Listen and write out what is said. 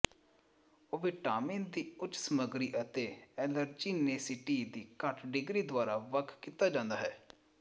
ਉਹ ਵਿਟਾਮਿਨ ਦੀ ਉੱਚ ਸਮੱਗਰੀ ਅਤੇ ਅਲਰਜੀਨੇਸੀਟੀ ਦੀ ਘੱਟ ਡਿਗਰੀ ਦੁਆਰਾ ਵੱਖ ਕੀਤੇ ਜਾਂਦੇ ਹਨ